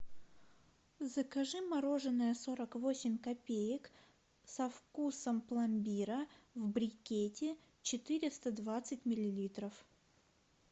закажи мороженое сорок восемь копеек со вкусом пломбира в брикете четыреста двадцать миллилитров